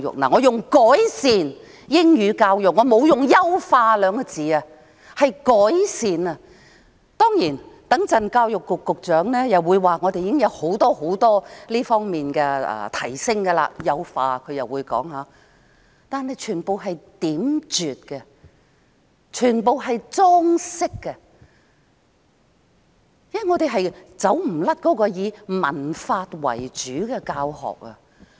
我是說"改善"英語教育，沒有用"優化"兩個字，當然，稍後教育局局長又會說，現時很多方面已有所提升，但全部的措施都只是點綴、只是裝飾，因為我們無法脫離以文法為主的教學。